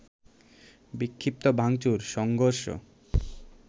বিক্ষিপ্ত ভাঙচুর, সংঘর্ষ